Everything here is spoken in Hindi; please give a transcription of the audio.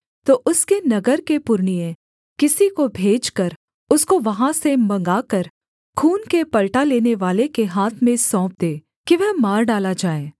तो उसके नगर के पुरनिये किसी को भेजकर उसको वहाँ से मँगवाकर खून के पलटा लेनेवाले के हाथ में सौंप दें कि वह मार डाला जाए